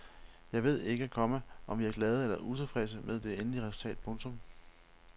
Jeg ved ikke, komma om vi er glade eller utilfredse med det endelige resultat. punktum